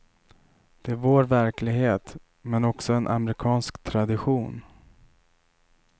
Det är vår verklighet men också en amerikansk tradition.